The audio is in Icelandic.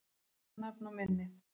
Leggið þetta nafn á minnið